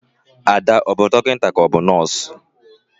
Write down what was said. Ada, ọ bu dọkịnta ka ọ bụ nọs?